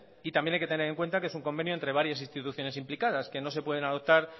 y también hay que tener en cuenta que es un convenio entre varias instituciones implicadas que no se pueden adoptar